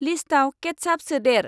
लिस्टाव केत्चाप सोदेर।